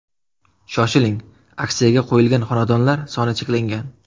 Shoshiling, aksiyaga qo‘yilgan xonadonlar soni cheklangan!